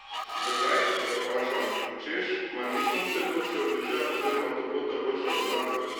Zakaj, ga vprašam, češ, mar ni sonce boljše od dežja oziroma toplota boljša od mraza.